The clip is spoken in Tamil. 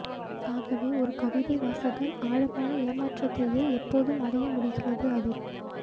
ஆகவே ஒரு கவிதை வாசகன் ஆழமான ஏமாற்றத்தையே எப்போதும் அடைய முடிகிறது அதில்